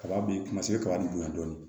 Kaba b'i kuma se ka kaba b'i bonya dɔɔni